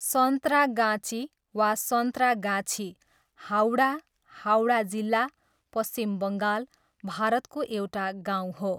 सन्त्रागाची, वा सन्त्रागाछी, हावडा, हावडा जिल्ला, पश्चिम बङ्गाल, भारतको एउटा गाउँ हो।